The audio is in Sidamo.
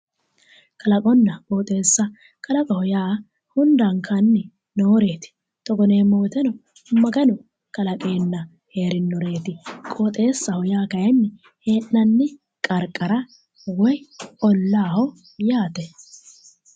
Kalaqonna qooxeessa kalaqoho yaa hundankanni nooreeti togo yineemmo woyiteno maganu kalaqeenna heerinoreeti qooxeessaho yaa kayinni hee'nanni qarqara woyi ollaaho yaate.